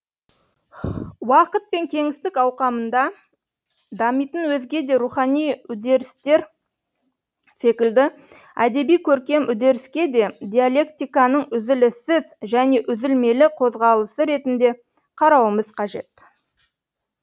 уақыт пен кеңістік ауқымында дамитын өзге де рухани үдерістер секілді әдеби көркем үдеріске де диалектиканың үзіліссіз және үзілмелі қозғалысы ретінде қарауымыз қажет